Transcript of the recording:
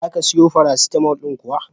Za ka siyo farasitalmo ɗin kuwa?